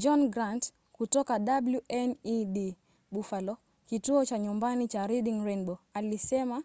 john grant kutoka wned buffalo kituo cha nyumbani cha reading rainbow alisema